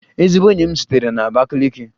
Ezigbo enyi m sitere na Abakiliki